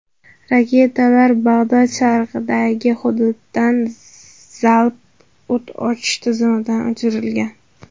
Raketalar Bag‘dod sharqidagi hududdan zalp o‘t ochish tizimidan uchirilgan.